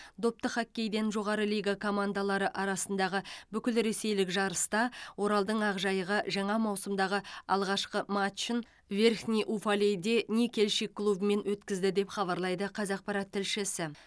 допты хоккейден жоғары лига командалары арасындағы бүкілресейлік жарыста оралдың ақжайығы жаңа маусымдағы алғашқы матчын верхний уфалейде никельщик клубымен өткізді деп хабарлайды қазақпарат тілшісі